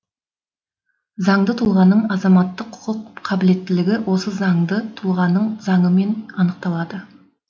занды тұлғаның азаматтық құқық қабілеттілігі осы заңды тұлғаның заңымен анықталады